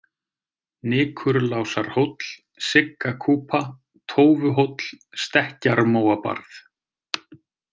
Nikurlásarhóll, Siggakúpa, Tófuhóll, Stekkjarmóabarð